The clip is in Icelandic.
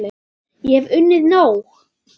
Ég hef unnið nóg!